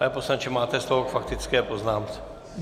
Pane poslanče, máte slovo k faktické poznámce.